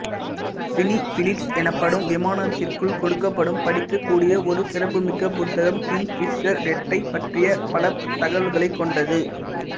cine Blitz எனப்படும் விமானத்திற்குள் கொடுக்கப்படும் படிக்கக்கூடிய ஒரு சிறப்புமிக்க புத்தகம் கிங்க்ஃபிஷர் ரெட்டைப் பற்றிய பல தகவல்களைக் கொண்டது